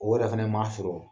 O yɛrɛ fɛnɛ ma sɔrɔ